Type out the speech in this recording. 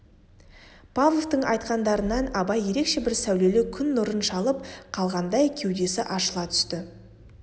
павловтың айтқандарынан абай ерекше бір сәулелі күн нұрын шалып қалғандай кеудесі ашыла түсті